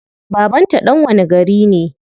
Baban ta dan wani gari ne?